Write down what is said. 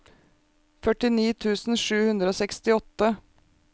førtini tusen sju hundre og sekstiåtte